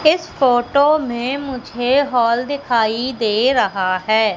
इस फोटो में मुझे हॉल दिखाई दे रहा है।